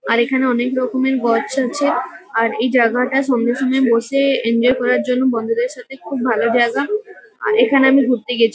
আর এখানে অনেক রকমের গছ আছে। আর এই জায়গাটা সন্ধ্যের সময় বসে এনজয় করার জন্য বন্ধুদের সাথে খুব ভালো জায়গা। আর এখানে আমি ঘুরতে গেছি।